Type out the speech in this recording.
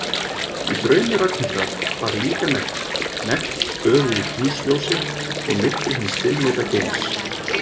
Í draumi Ragnhildar var líka nekt, nekt böðuð í tunglsljósi og myrkri hins dimmleita geims.